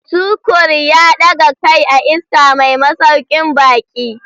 Tukur ya daga kai a iska mai masaukin baki.